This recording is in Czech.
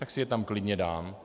Tak si je tam klidně dám.